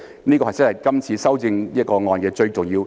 這真的是今次修訂的最重要一點。